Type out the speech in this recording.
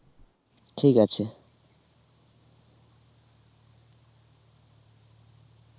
ঠিক আছে